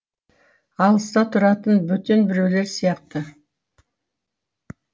алыста тұратын бөтен біреулер сияқты